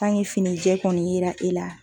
finijɛ kɔni yera e la